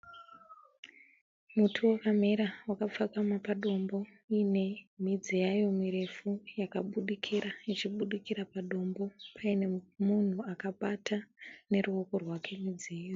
Muti wakamera wakapfakama padombo . Uyine midzi yayo mirefu yakabudikira , ichibudikira padombo pane munhu akabata neruoko rwake midzi iyoyo.